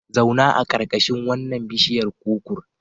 Zauna a ƙarƙashin wannan biishiyar kukur.